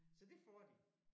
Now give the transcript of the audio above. Så det får de